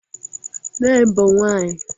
Nne m bụ nwaanyị